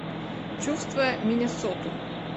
чувствуя миннесоту